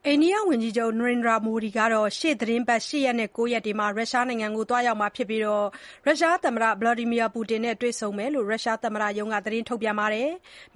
အိန္ဒိယဝန်ကြီးချုပ် Narendra Modi ဟာ ရှေ့သီတင်းပတ် ၈ ရက်နဲ့ ၉ ရက်မှာ ရုရှားနိုင်ငံကို ရောက်လာမှာဖြစ်ပြီး သမ္မတ Vladimir Putin နဲ့ တွေ့ဆုံမှာဖြစ်တယ်လို့ ရုရှားသမ္မတရုံးက ထုတ်ပြန်ပါတယ်။